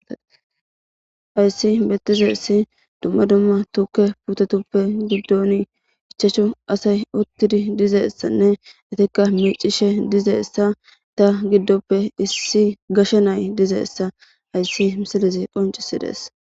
Ayssi bettizeyssi dumma dumma tuke putetuppe giddon ichachu asay uttidi dizeessanne itikka miicishe dizeessa ta giddoppe issi gashe nay dizeessa ayssi misilizi qoncisi dees.